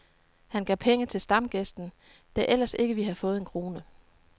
Han gav penge til stamgæsten, der ellers ikke ville have fået en krone.